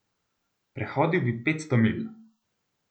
Prehodil bi petsto milj!